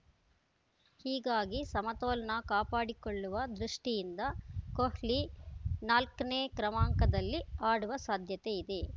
ಹೀಗಾಗಿ ಸಮತೋಲನ ಕಾಪಾಡಿಕೊಳ್ಳುವ ದೃಷ್ಟಿಯಿಂದ ಕೊಹ್ಲಿ ನಾಲ್ಕನೇ ಕ್ರಮಾಂಕದಲ್ಲಿ ಆಡುವ ಸಾಧ್ಯತೆ ಇದೆ